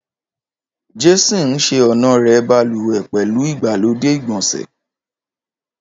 Jason ṣe ọnà rẹ baluwe pẹlu igbalode igbonse